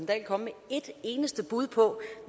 dahl komme med et eneste bud på